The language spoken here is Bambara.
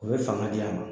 U bɛ fanga di a ma